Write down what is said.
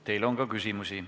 Teile on ka küsimusi.